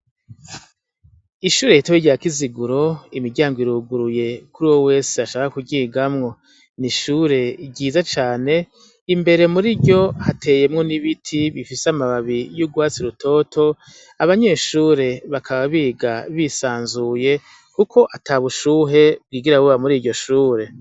Ishure hitawe rya kiziguro imiryango iruguruye kuri wo wese ashaka kugigamwo ni ishure ryiza cane imbere muri ryo hateyemwo n'ibiti bifise amababi y'ugwatsi rutoto abanyeshure bakaba biga bisanzuye, kuko ata bushuhe bwigira boba muri wo iryo shure.